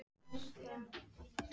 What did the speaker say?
Vera okkar þar líka.